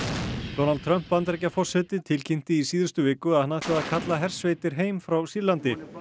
Donald Trump Bandaríkjaforseti tilkynnti í síðustu viku að hann ætlaði að kalla hersveitir heim frá Sýrlandi